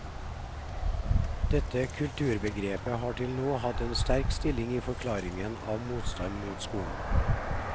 Dette kulturbegrepet har til nå hatt en sterk stilling i forklaringen av motstand mot skolen.